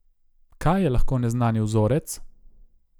Kaj je lahko neznani vzorec?